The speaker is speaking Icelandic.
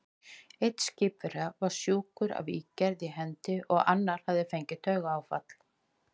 Einn skipverja var sjúkur af ígerð í hendi, og annar hafði fengið taugaáfall.